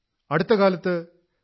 അടുത്ത കാലത്ത് ശ്രീ